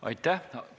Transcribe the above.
Aitäh!